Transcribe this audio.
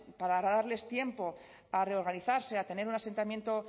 para darles tiempo a reorganizarse a tener un asentamiento